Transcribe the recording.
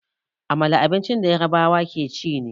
Amala abincin da Yarbawa ke ci ne.